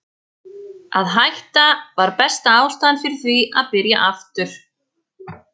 Að hætta var besta ástæðan fyrir því að byrja aftur.